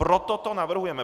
Proto to navrhujeme.